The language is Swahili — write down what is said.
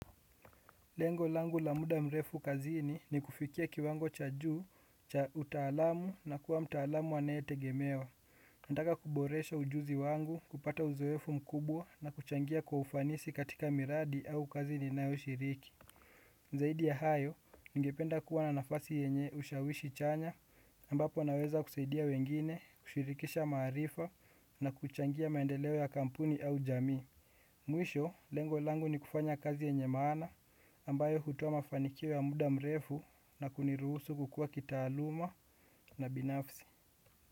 Lengo langu la muda mrefu kazini ni kufikia kiwango cha juu, cha utaalamu na kuwa mtaalamu anayetegemewa. Nataka kuboresha ujuzi wangu, kupata uzoefu mkubwa na kuchangia kwa ufanisi katika miradi au kazi ninayoshiriki. Zaidi ya hayo, ningependa kuwa na nafasi yenye ushawishi chanya ambapo naweza kusaidia wengine, kushirikisha maarifa na kuchangia maendeleo ya kampuni au jamii. Mwisho, lengo langu ni kufanya kazi yenye maana ambayo hutoa mafanikio ya muda mrefu na kuniruhusu kukua kitaaluma na binafsi.